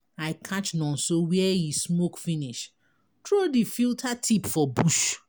I catch Nonso where he smoke finish throw the filter tip for bush.